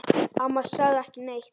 Amma sagði ekki neitt.